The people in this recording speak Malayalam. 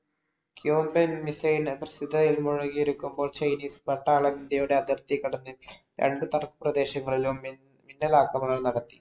Cuban Missile മുഴുകിയിരിക്കുമ്പോൾ ചൈനീസ്‌ പട്ടാളം ഇന്ത്യയുടെ അതിർത്തികടന്ന് രണ്ട് തർക്കപ്രദേശങ്ങളിലും മിന്നലാക്രമണം നടത്തി.